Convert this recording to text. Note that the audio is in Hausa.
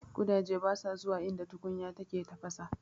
Ƙudaje basa zuwa inda tukunya take tafasa.